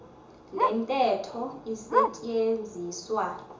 le ntetho isetyenziswa